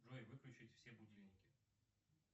джой выключить все будильники